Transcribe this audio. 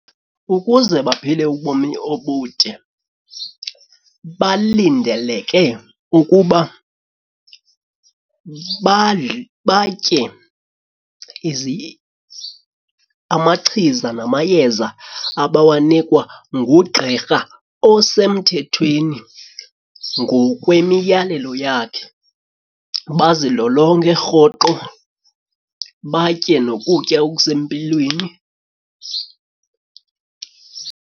Ukuze baphile ubomi obude balindeleke ukuba badle batye amachiza namayeza abawanikwa ngugqirha osemthethweni ngokwemiyalelo yakhe bazilolonge rhoqo, batye nokutya okusempilweni.